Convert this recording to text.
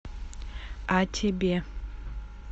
а тебе